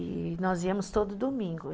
E nós íamos todo domingo